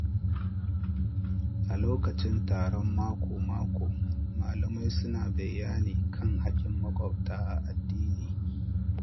A lokacin taron mako-mako, malamai suna bayani kan hakkin maƙwabta a addini.